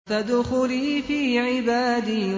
فَادْخُلِي فِي عِبَادِي